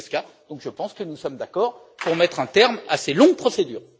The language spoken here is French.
Zwiefka, donc je pense que nous sommes d'accord pour mettre un terme à ces longues procédures.